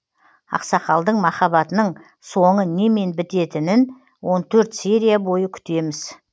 ақсақалдың махаббатының соңы немен бітетінін он төрт серия бойы күтеміз